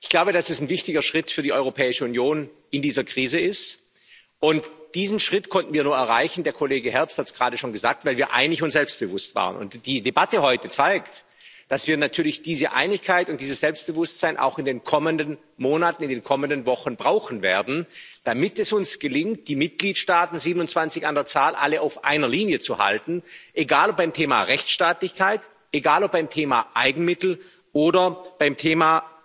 Ich glaube, dass es ein wichtiger Schritt für die Europäische Union in dieser Krise ist, und diesen Schritt konnten wir nur erreichen der Kollege Herbst hat es gerade schon gesagt weil wir einig und selbstbewusst waren. Und die Debatte heute zeigt, dass wir natürlich diese Einigkeit und dieses Selbstbewusstsein auch in den kommenden Monaten, in den kommenden Wochen brauchen werden, damit es uns gelingt, die Mitgliedstaaten 27 an der Zahl alle auf einer Linie zu halten, egal ob beim Thema Rechtsstaatlichkeit, egal ob beim Thema Eigenmittel oder beim Thema